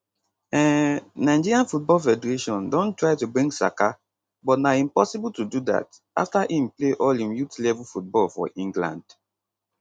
um nigeria football federation don try to bring saka but na impossible to do dat afta im play all im youth level football for england